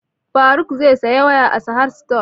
Faruk zai saya waya a sahad stores